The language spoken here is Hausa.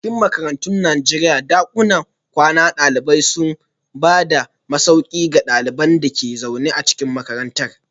A cikin makarantun Najeriya, dakunan kwanan dalibai suna ba da masauki ga ɗaliban da ke zaune a cikin makarantar.